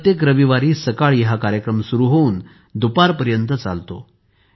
प्रत्येक रविवारी सकाळी हा कार्यक्रम सुरु होऊन दुपारपर्यंत चालतो